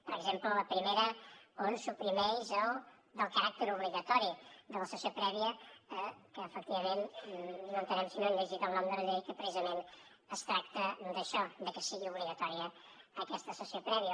per exemple la primera que suprimeix el caràcter obligatori de la sessió prèvia que efectivament no entenem si no han llegit el nom de la llei precisament es tracta d’això de que sigui obligatòria aquesta sessió prèvia